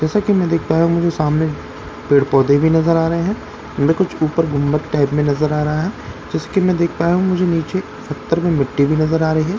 जैसा कि मैं देख पा रहा हूं मुझे सामने पेड़ पौधे भी नजर आ रहे हैं मैं कुछ ऊपर गुंबत टाइप में नजर आ रहा है जैसे कि मैं देख पाया हूं मुझे नीचे सत्तर में मिट्टी भी नजर आ रही है।